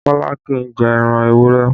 Kọ́lá kì í jẹ ẹran ewúrẹ́